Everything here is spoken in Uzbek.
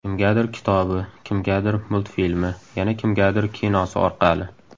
Kimgadir kitobi, kimgadir multfilmi, yana kimgadir kinosi orqali.